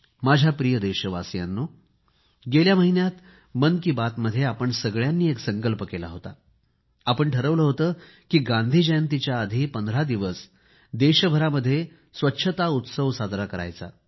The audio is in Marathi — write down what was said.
माझ्या प्रिय देशवासियांनो गेल्या महिन्यात मन की बात मध्ये आपण सगळ्यांनी एक संकल्प केला होता आणि आपण ठरवले होते की गांधी जयंतीच्या आधी 15 दिवस देशभरामध्ये स्वच्छता उत्सव साजरा करणार